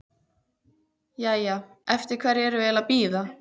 Jæja, eftir hverju erum við eiginlega að bíða?